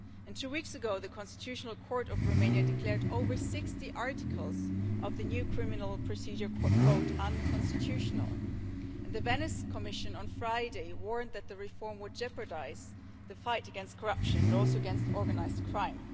Two weeks ago, the Constitutional Court of Romania declared over 60 articles of the new criminal procedure code unconstitutional. On Friday, the Venice Commission warned that the reform would jeopardise the fight against corruption and also against organised crime.